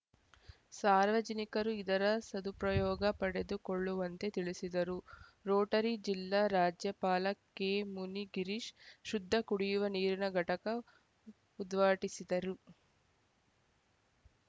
ಸಾರ್ವಜನಿಕರು ಇದರ ಸದುಪ್ರಯೋಗ ಪಡೆದುಕೊಳ್ಳುವಂತೆ ತಿಳಿಸಿದರು ರೋಟರಿ ಜಿಲ್ಲಾ ರಾಜ್ಯಪಾಲ ಕೆಮುನಿ ಗಿರೀಶ್‌ ಶುದ್ಧ ಕುಡಿಯುವ ನೀರಿನ ಘಟಕ ಉದ್ವಾಟಿಸಿದರು